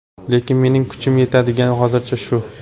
Lekin mening kuchim yetadigani hozircha shu.